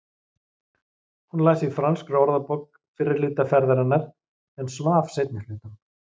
Hún las í franskri orðabók fyrri hluta ferðarinnar en svaf seinni hlutann.